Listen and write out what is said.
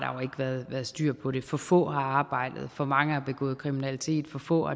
været styr på det for få har arbejdet for mange har begået kriminalitet for få